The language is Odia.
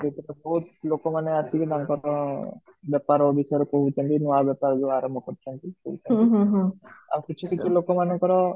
ସେଠି ତ ବହୁତ ଲୋକ ମନେ ଆସିକି ନା ତାଙ୍କର ବେପାର ବିଷୟରେ କହୁଛନ୍ତି ନୂଆ ବେପାର ଯୋଉ ଆରମ୍ଭ କରୁ ଛନ୍ତି ଆଉ କିଛି କିଛି କିଛି ଲୋକ ମାନଙ୍କର